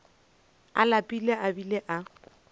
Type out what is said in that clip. a lapile a bile a